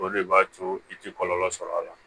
O de b'a to i tɛ kɔlɔlɔ sɔrɔ a la